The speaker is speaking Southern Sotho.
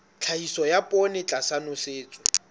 tlhahiso ya poone tlasa nosetso